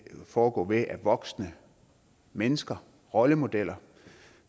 foregå ved at voksne mennesker rollemodeller